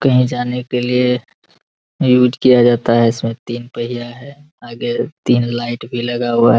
कही जाने के लिए यूस किया जाता है | इसमे तीन पहिया है आगे तीन लाइट भी लगा हुआ है ।